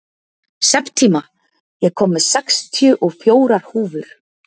Septíma, ég kom með sextíu og fjórar húfur!